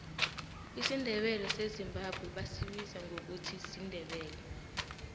isindebele sezimbabwe basibiza ngokuthi sindebele